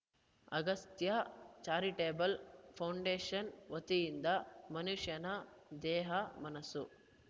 Agastya charitable foundation ವತಿಯಿಂದ ಮನುಷ್ಯನ ದೇಹ ಮನಸ್ಸು